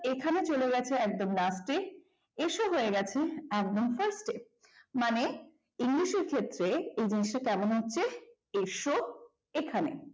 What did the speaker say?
এখানে চলে গেছে একদম last এসো হয়ে গেছে একদম first এ এই জিনিসটা কেমন হচ্ছে এসো এখানে